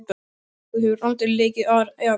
Þú hefur aldrei leikið áður eða hvað?